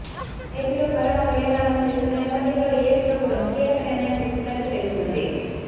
AP లో corona విలయతాండవం చేస్తున్ననేపధ్యంలో ఏపీ ప్రభుత్వం కీలక నిర్ణయం తీసుకున్నట్లు తెలుస్తుంది